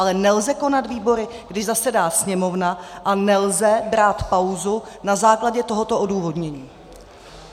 Ale nelze konat výbory, když zasedá Sněmovna, a nelze brát pauzu na základě tohoto odůvodnění.